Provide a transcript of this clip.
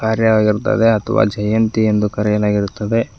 ಕಾರ್ಯ ಆಗಿರುತ್ತದೆ ಅಥವಾ ಜಯಂತಿ ಎಂದು ಕರೆಯಲಾಗಿರುತ್ತದೆ.